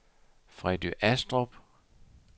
Freddy Astrup